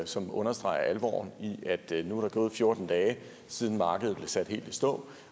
som understreger alvoren i at der nu er gået fjorten dage siden markedet blev sat helt i stå